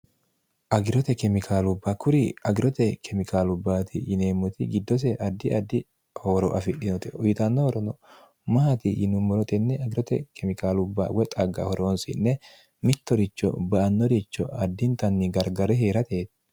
agirote kemikaalubba kuri agirote kemikaalubbaati yineemmoti giddose addi addi hooro afidhinote uyitanno horono maati yinummoro tenne agirote kemikaalubba woy xagga horoonsi'nne mittoricho ba''annoricho addintanni gargare heerateeti